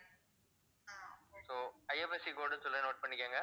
soIFSCcode சொல்றேன் note பண்ணிக்கோங்க